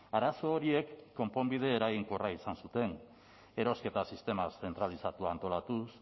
arazo horiek konponbide eraginkorra izan zuten erosketa sistema zentralizatua antolatuz